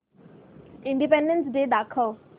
independence Day दाखव